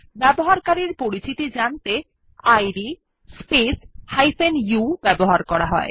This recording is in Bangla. ব্যবহারকারীর পরিচিতি জানতে ইদ স্পেস u ব্যবহার করা হয়